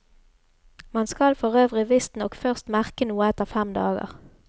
Man skal forøvrig visstnok først merke noe etter fem dager.